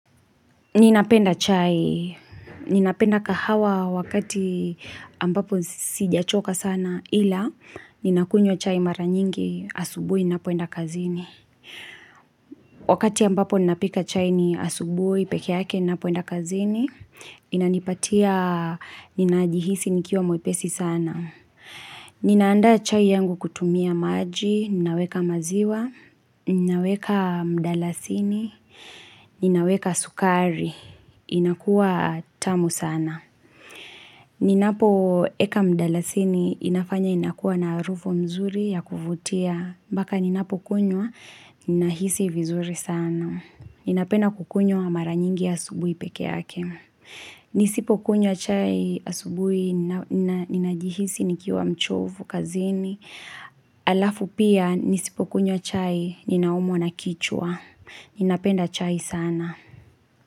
Ninapenda chai. Ninapenda kahawa wakati ambapo sijachoka sana ila nina kunywa chai mara nyingi asubuhi ninapoenda kazini. Wakati ambapo ninapika chai ni asubuhi peke yake ninapoenda kazini. Inanipatia nina jihisi nikiwa mwepesi sana. Ninaandaa chai yangu kutumia maji. Ninaweka maziwa. Ninaweka mdalasini. Ninaweka sukari, inakuwa tamu sana. Ninapoweka mdalasini inafanya inakuwa na harufu nzuri ya kuvutia. Mbaka ninapokunywa, ninahisi vizuri sana. Ninapenda kukunywa mara nyingi asubuhi peke yake. Nisipokunywa chai asubuhi, ninajihisi nikiwa mchovu kazini. Alafu pia, nisipokunywa chai, ninaumwa na kichwa. Ninapenda chai sana.